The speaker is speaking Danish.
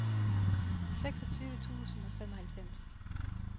seksogtyve tusind og femoghalvfems